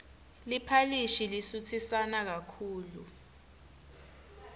liphalishi lisutsisana kakhulu